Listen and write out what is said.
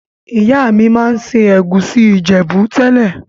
Ìyá mi ma n se ègusi Ìjẹ̀bú tẹ́lẹ̀.